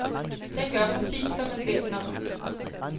Den gør præcis, hvad man beder den om.